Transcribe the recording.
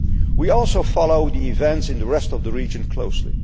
We are also following the events in the rest of the region closely.